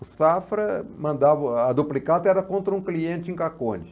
O Safra mandava, a duplicata era contra um cliente em Caconde.